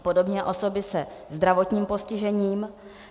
Podobně osoby se zdravotním postižením.